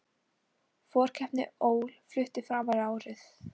Forkeppni ÓL flutt framar á árið